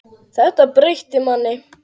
Þetta breytir manni.